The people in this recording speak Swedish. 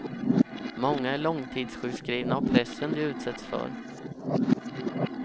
Många är långtidssjukskrivna av pressen de utsätts för.